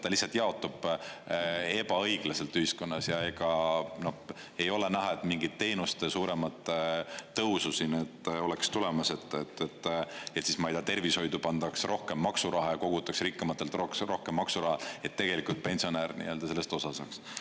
Ta lihtsalt jaotab ebaõiglaselt ühiskonnas ja ega ei ole näha, et mingit teenuste suuremat tõusu siin nüüd oleks tulemas, et siis, ma ei tea, tervishoidu pandaks rohkem maksuraha ja kogutaks rikkamatelt rohkem maksuraha, et tegelikult pensionär nii-öelda sellest osa saaks.